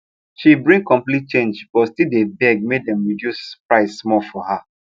she bring complete change but still deh beg make dem reduce price small for her